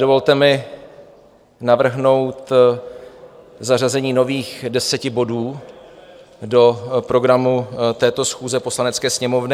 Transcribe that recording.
Dovolte mi navrhnout zařazení nových deseti bodů do programů této schůze Poslanecké sněmovny.